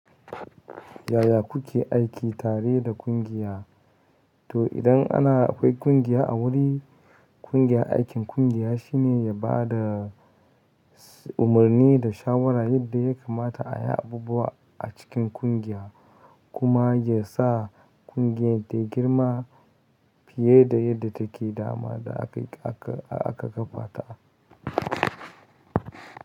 Yaya kuke aiki tare da ƙungiya? To idan ana kwai ƙungiya a wuri, ƙungiya aikin ƙungiya shine ya bada, umarni da shawara yadda ya kamata ayi abubuwa a cikin ƙungiya, kuma yasa ƙungiyar tayi girma fiye da yadda take dama da aka kafa ta.